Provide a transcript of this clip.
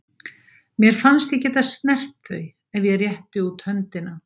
Mér fannst ég geta snert þau ef ég rétti út höndina.